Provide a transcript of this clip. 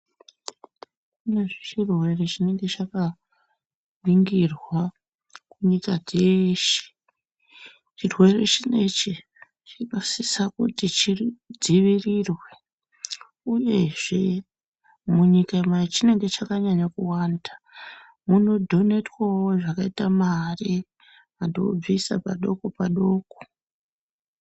Pane chirwere chinenge chakaningirwa kunyika dzeshe. Chirwere chinechi chakadisa kuti chidzivirirwe uyezve munyika machinenge chakanyanya kuwanda munodhonetwawo zvakaita mari vanhu vobvisa padoko padoko.